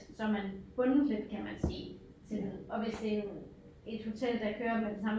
Så er man bundet lidt kan man sige til noget og hvis det er en et hotel der kører med den samme